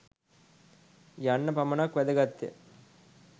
යන්න පමණක් වැදගත් ය